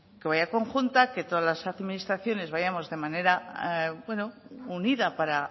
que vaya conjunta que todas las administraciones vayamos de manera unida para